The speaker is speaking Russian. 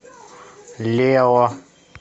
лео